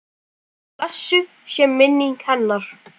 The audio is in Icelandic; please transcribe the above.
Svo blessuð sé minning hennar.